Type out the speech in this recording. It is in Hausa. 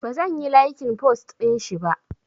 Bazan yi laikin post ɗinshi ba